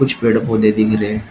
कुछ पेड़ पौधे दिख रहे--